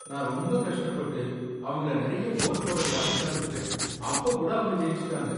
நான் ரொம்ப கஷ்டப்பட்டு, அவங்கள நறைய கோல் போட விடாம தடுத்துட்டேன், அப்ப கூட அவங்க ஜெயிச்சுட்டாங்க.